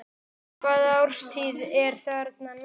Hvaða árstíð er þarna núna?